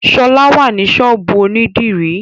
Ṣọlá wà ní ṣọ́ọ̀bú ònídìrí